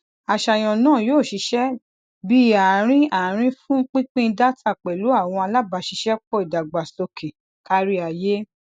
aṣayan naa yoo ṣiṣẹ bi aarin aarin fun pinpin data pẹlu awọn alabaṣiṣẹpọ idagbasoke kariaye